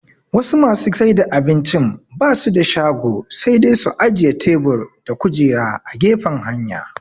Wasu masu saida abincin basu da shago sai dai su ajiye tebur da kujera a gefen hanya